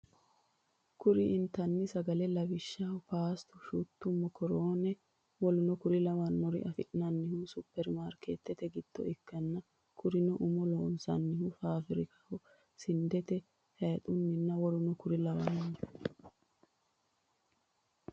Kuri intanni sagalla lawishshaho paastu/shuttu, mokorone woleno konne lawannore afi'nannihu supir mariketete giddo ikkanna kurino umo loonsannihu fafirikkaho sindetenni , hayixunninna w.k.l .